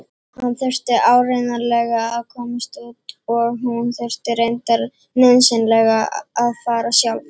Hann þurfti áreiðanlega að komast út og hún þurfti reyndar nauðsynlega að fara sjálf.